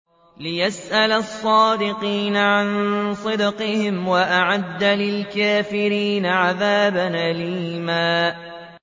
لِّيَسْأَلَ الصَّادِقِينَ عَن صِدْقِهِمْ ۚ وَأَعَدَّ لِلْكَافِرِينَ عَذَابًا أَلِيمًا